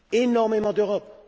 énormément d'Europe.